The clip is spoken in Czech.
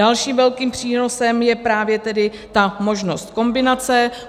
Dalším velkým přínosem je právě tedy ta možnost kombinace.